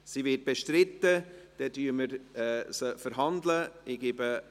– Sie wird bestritten, dann verhandeln wir sie.